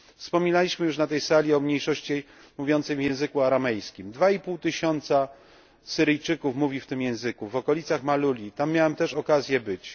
Wspominaliśmy już na tej sali o mniejszości mówiącej w języku aramejskim 2,5 tysiąca Syryjczyków mówi w tym języku, w okolicach Maluli, tam też miałem okazję być.